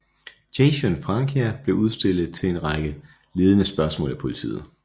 Jason Francia blev stillet en række ledende spørgsmål af politiet